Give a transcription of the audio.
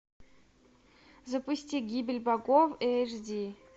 запусти гибель богов эйч ди